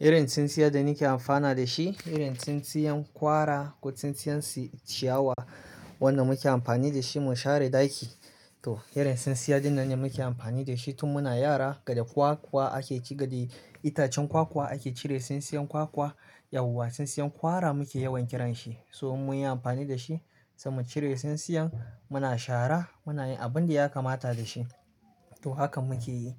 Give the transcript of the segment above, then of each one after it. Irin tsintsiyar da nake amfana da shi, irin tsintsiyan kwara ko tsintsiyan ciyawa wanda muke amfani da shi mu share ɗaki. Toh irin sinsiya dinnan ne muke amfani da shi tun muna yara. Gada kwakwa ake ci, gadi itacen kwakwa ake cire tsintsiyan kwakwa. Yauwa tsintsiyan kwara muke yawan kiran shi. So mun yi amfani da shi sai mu cire tsintsiyan, muna shara muna yin abin da ya kamata da shi. To hakan muke yi.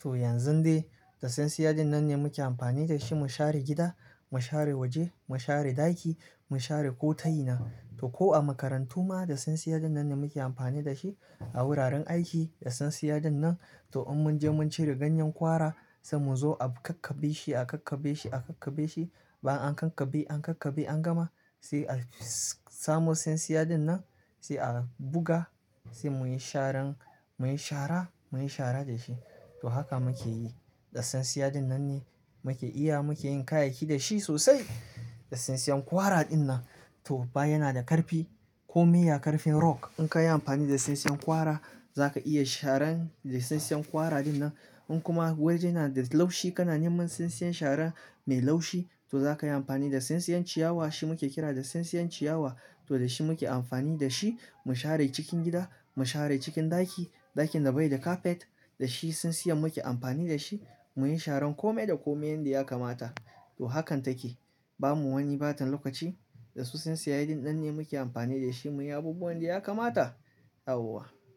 To yanzun dai da sinsiya dinnan ne muke amfani da shi mu share gida, mu share waje, mu share ɗaki, mu share ko tayina. To ko a makarantu ma da tsintsiyar dinnan ne muke amfani da shi. A wuraren aiki da sinsiya dinnan, toh in mun je mun cire ganyen kwara, sai mu zo a kakkabe shi, a kakkabe shi, a kakkabe shi. Ban an kakkabe, an kakkabe an gama sai a samo sinsiya dinnan sai a buga sai muyi sharan, muyi shara, muyi shara da shi. Toh haka muke yi. Da sinsiya dinnan ne muke iya muke yin kayayyaki da shi sosai. Da sinsiyan kwara dinnan to ba yana da ƙarfi kome ya ƙarfin rock. In ka yi amfani da sinsiyan kwara za ka iya sharan da sinsiyan kwara dinnan. In kuma wajena da laushi kana neman sinsiyan shara mai laushi to za ka yi amfani da sinsiyan ciyawa. Shi muke kira da sinsiyan ciyawa. To da shi muke amfani da shi mu share cikin gida, mu share cikin ɗaki. Ɗakin da bai da kafet da shi sinsiyan muke amfani da shi muyi sharan kome da komai yanda ya kamata. To hakan take. Ba mu wani ɓata lokaci. Da su sinsiya dinnan ne muke amfani da shi muyi abubuwan da ya kamata yauwa.